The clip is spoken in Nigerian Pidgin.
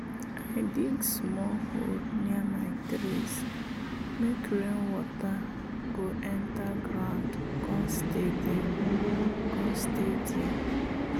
i dig small hole near my trees make rainwater go enter ground come stay there. come stay there.